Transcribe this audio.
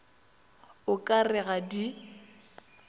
o ka re ga di